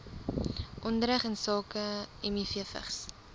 onderrig insake mivvigs